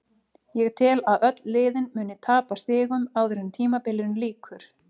Ég tel að öll liðin muni tapa stigum áður en tímabilinu lýkur.